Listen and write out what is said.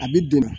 A bi don